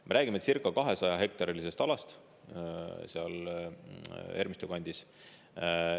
Me räägime circa 200-hektarilisest alast seal Ermistu kandis.